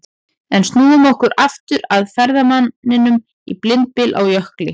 En snúum okkur aftur að ferðamanninum í blindbyl á jökli.